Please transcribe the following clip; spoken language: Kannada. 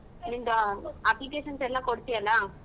ನಿಂದು applications ಎಲ್ಲಾ ಕೊಡ್ತಿಯಲ್ಲ.